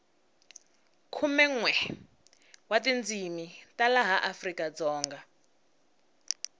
khumenwe wa tindzini ta laha afrikadzonga